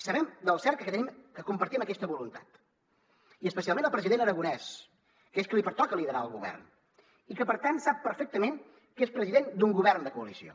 sabem del cert que compartim aquesta voluntat i especialment el president aragonès que és a qui li pertoca liderar el govern i que per tant sap perfectament que és president d’un govern de coalició